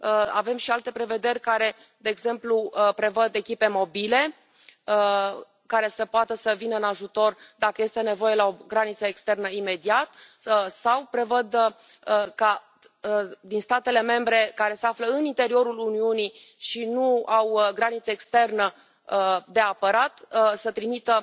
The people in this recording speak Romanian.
Avem și alte prevederi care, de exemplu, prevăd echipe mobile, care să poată să vină în ajutor, dacă este nevoie, la o graniță externă, imediat să prevăd ca, din statele membre care se află în interiorul Uniunii și nu au graniță externă de apărat, să se trimită